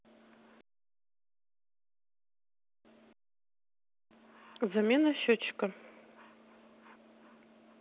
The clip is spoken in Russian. замена счётчика